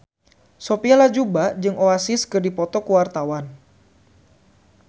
Sophia Latjuba jeung Oasis keur dipoto ku wartawan